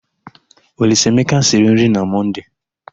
Olisaemeka siri nri na Mọnde.